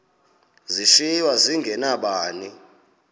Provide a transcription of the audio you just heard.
zishiywe zinge nabani